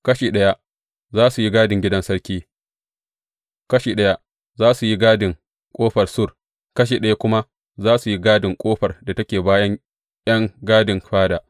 Kashi ɗaya za su yi gadin gidan sarki, kashi ɗaya za su yi gadin Ƙofar Sur, kashi ɗaya kuma za su yi gadin ƙofar da take bayan ’yan gadin fada.